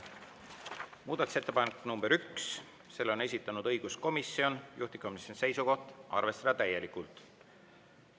Muudatusettepanek nr 1, selle on esitanud õiguskomisjon, juhtivkomisjoni seisukoht: arvestada täielikult.